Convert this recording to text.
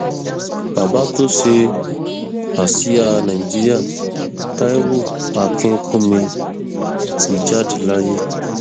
bàbá tó ṣe àsíá nàìjíríà taiwo akínkùnmí ti jáde láyé